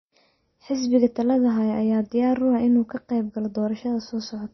Xisbiga talada haya ayaa diyaar u ah inuu ka qeyb galo doorashada soo socota.